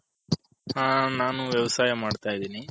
ಹ ನಾನು ವ್ಯವಸಾಯ ಮಾಡ್ತೈದಿನಿ